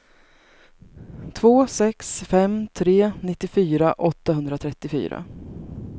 två sex fem tre nittiofyra åttahundratrettiofyra